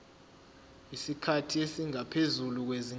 isikhathi esingaphezulu kwezinyanga